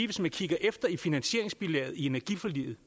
hvis man kigger efter i finansieringsbilaget i energiforliget